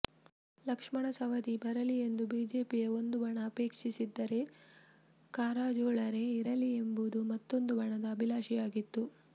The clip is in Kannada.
ಲಕ್ಷ್ಮಣ ಸವದಿ ಬರಲಿ ಎಂದು ಬಿಜೆಪಿಯ ಒಂದು ಬಣ ಅಪೇಕ್ಷಿಸಿದ್ದರೆ ಕಾರಜೋಳರೇ ಇರಲಿ ಎಂಬುದು ಮತ್ತೊಂದು ಬಣದ ಅಭಿಲಾಷೆಯಾಗಿತ್ತು